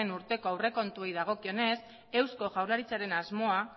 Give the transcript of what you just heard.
urteko aurrekontuei dagokionez eusko jaurlaritzaren asmoa